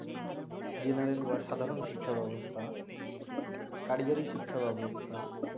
general বা সাধারন শিক্ষা ব্যাবস্থা কারিগরি শিক্ষা ব্যাবস্থা